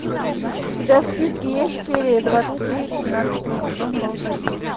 у тебя в списке есть серия двадцать девять тринадцатого сезона волшебники